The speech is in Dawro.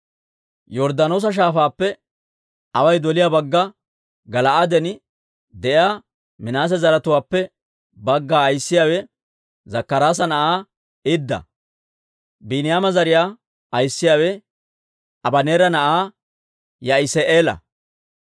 Yorddaanoosa Shaafaappe away doliyaa bagga Gala'aaden de'iyaa Minaase zaratuwaappe bagga ayissiyaawe Zakkaraasa na'aa Idda. Biiniyaama zariyaa ayissiyaawe Abaneera na'aa Ya'isi'eela.